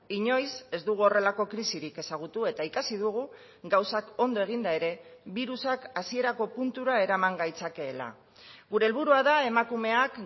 inoiz ez dugu horrelako krisirik ezagutu eta ikasi dugu gauzak ondo eginda ere birusak hasierako puntura eraman gaitzakeela gure helburua da emakumeak